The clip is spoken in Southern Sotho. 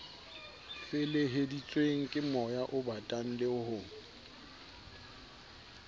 feleheditsweng kemoya obatang le ho